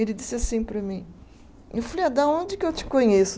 Ele disse assim para mim, eu falei, ah de onde que eu te conheço?